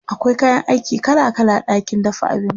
akwai kayan aiki kala kala a ɗakin dafa abinci